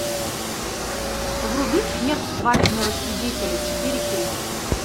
вруби смерть свадебного свидетеля четыре кей